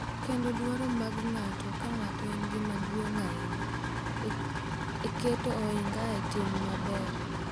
Kendo dwaro mag ng’ato ka ng’ato en gima duong’ ahinya e keto ohinga e tim maber.